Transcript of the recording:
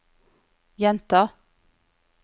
gjenta